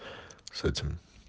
с этим